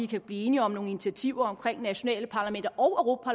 kan blive enige om nogle initiativer om nationale parlamenter og